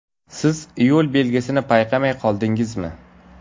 Siz yo‘l belgisini payqamay qoldingizmi?